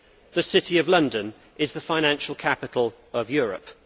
The City of London is the financial capital of Europe.